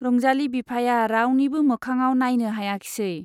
रंजाली बिफाया रावनिबो मोखाङाव नाइनो हायाखिसै।